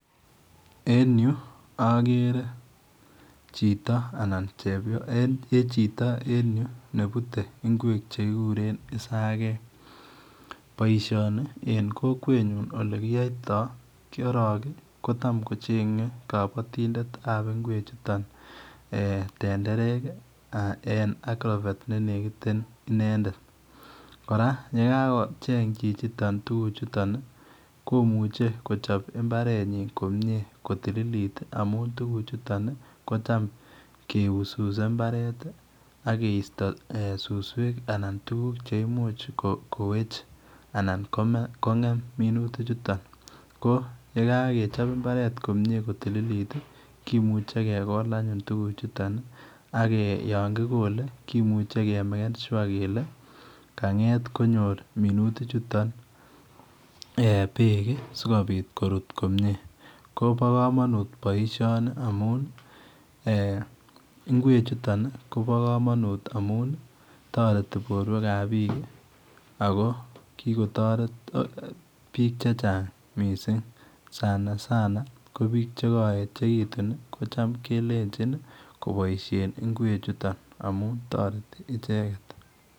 En yu agere chito anan chepyoset chito en yu ii nebute ngweek che kiguren isageek boisioni en kokwet nyiin ole kiyaitaa korong kotam kochengei kabatindet ab ngweek chutoon tenderek ii En [agrovet] ne nekiteen inendet kora ye kagocheeng chichi toon tuguk komuchei kochap mbaret komyei kotililit ii ko ham keuseuse mbaret ii ak kristo suswek anan tuguk cheimuuch koweech anan ko gem minutik chutoon ko ye kagechap mbaret komyei ko tililit ii komuchei kegol anyone tuguk chutoon ko yaan kigole komuchei kemaken sure kole konyoor minutik chutoon eeh beek sikobiit koruut komyei kobaa kamanut boisioniamuun eeh ngweek chutoon Kobo kamanut amuun taretii boruek ab biik ii ako kikotaret biik che change missing sana sana ko biik che Ka yechekituun kelenjiin ii kobaishen ngweek chutoon amuun taretii ichegeet.